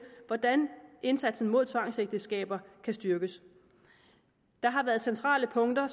hvordan indsatsen mod tvangsægteskaber kan styrkes der har været centrale punkter